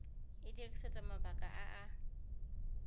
e dirisetswa mabaka a a